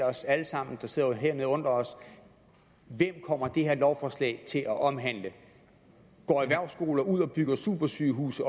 os alle sammen der sidder hernede og undrer os hvem kommer det her lovforslag til at omhandle går erhvervsskoler ud og bygger supersygehuse